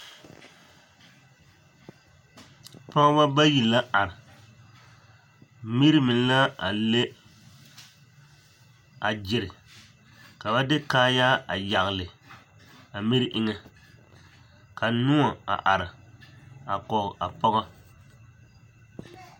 Pɔgebɔ bayi la are, miri meŋ la a le a gyere ka ba de kaayaa a yagele a miri eŋɛ ka noɔ a are a kɔge a pɔgɔ.